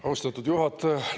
Austatud juhataja!